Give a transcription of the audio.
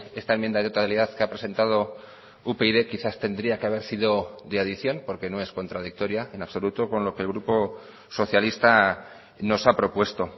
esta enmienda de totalidad que ha presentado upyd quizás tendría que haber sido de adición porque no es contradictoria en absoluto con lo que el grupo socialista nos ha propuesto